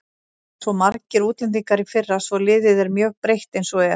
Það voru svo margir útlendingar í fyrra svo liðið er mjög breytt eins og er.